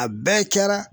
A bɛɛ kɛra